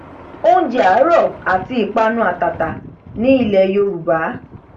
oúnjẹ àárọ àti ìpanu àtàtà ní ilẹ yorùbá